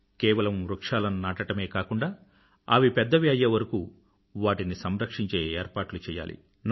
కేవలం వృక్షాలను నాటడమే కాకుండా అవి పెద్దవి అయ్యేవరకూ వాటిని సంరక్షించే ఏర్పాట్లు చెయ్యాలి